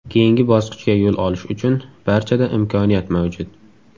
Keyingi bosqichga yo‘l olish uchun barchada imkoniyat mavjud.